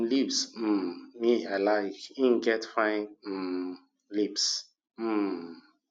lips um me i like[um]get fine um lips um